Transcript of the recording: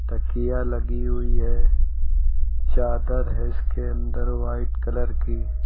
तकिया लगी हुई है चादर है इसके अंदर व्हाइट कलर की।